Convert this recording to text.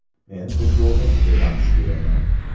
Men futbolni juda yaxshi ko‘raman.